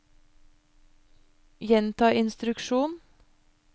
gjenta instruksjon